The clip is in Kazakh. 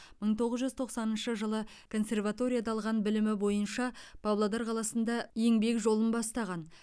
мың тоғыз жүз тоқсаныншы жылы консерваторияда алған білімі бойынша павлодар қаласында еңбек жолын бастаған